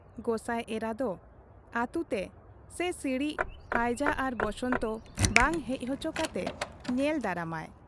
ᱜᱚᱸᱥᱟᱭ ᱮᱨᱟ ᱫᱚ ᱟᱹᱛᱩ ᱛᱮ ᱥᱮ ᱥᱤᱬᱤᱡ (ᱦᱟᱹᱭᱡᱟᱹ ᱟᱨ ᱵᱚᱥᱚᱱᱛᱚ ) ᱵᱟᱝ ᱦᱮᱡ ᱦᱚᱪᱚ ᱠᱟᱛᱮ ᱧᱮᱞ ᱫᱟᱨᱟᱢᱟᱭ ᱾